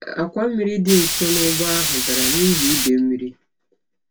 Àkwà mmiri dị nso n'ugbo ahụ dara n'ihi idei mmiri.